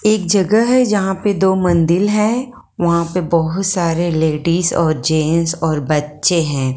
एक जगह है यहां पे दो मंदिल है वहां पे बहुत सारे लेडिस और जेंट्स और बच्चे हैं।